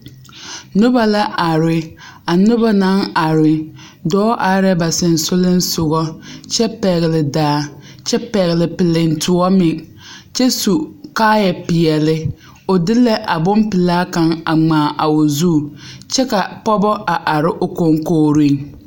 Noba la are a noba naŋ are dɔɔ are la ba sensoglensoga kyɛ pɛgle daa kyɛ pɛgle piliŋtoɔ meŋ kyɛ su kaayapeɛlle o de la a bonpelaa kaŋ a ŋmaa a o zu kyɛ ka pɔgeba are o koŋkogreŋ.